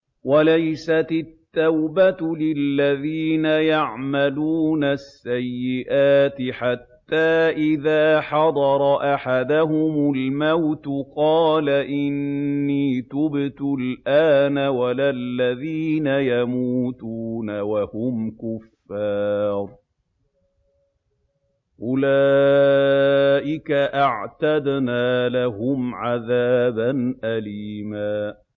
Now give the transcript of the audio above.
وَلَيْسَتِ التَّوْبَةُ لِلَّذِينَ يَعْمَلُونَ السَّيِّئَاتِ حَتَّىٰ إِذَا حَضَرَ أَحَدَهُمُ الْمَوْتُ قَالَ إِنِّي تُبْتُ الْآنَ وَلَا الَّذِينَ يَمُوتُونَ وَهُمْ كُفَّارٌ ۚ أُولَٰئِكَ أَعْتَدْنَا لَهُمْ عَذَابًا أَلِيمًا